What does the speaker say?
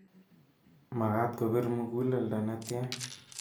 Magaat kobir muguleldo netyaa.